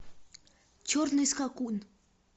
черный скакун